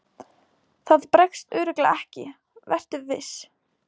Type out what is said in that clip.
Það bregst örugglega ekki, vertu viss.